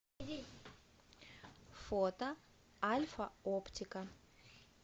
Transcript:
фото альфа оптика